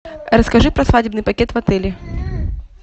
расскажи про свадебный пакет в отеле